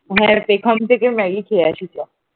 হ্যাঁ যেখান থেকে ম্যাগি খেয়ে আসি চ ।